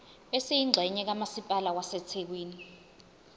esiyingxenye kamasipala wasethekwini